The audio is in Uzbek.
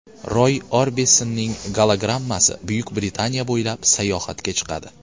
Roy Orbisonning gologrammasi Buyuk Britaniya bo‘ylab sayohatga chiqadi.